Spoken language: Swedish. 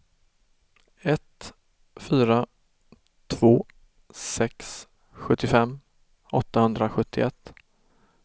ett fyra två sex sjuttiofem åttahundrasjuttioett